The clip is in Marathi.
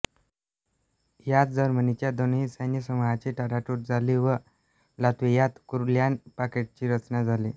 यात जर्मनीच्या दोन्ही सैन्यसमूहांची ताटातूट झाली व लात्व्हियात कूरलॅंड पॉकेटची रचना झाली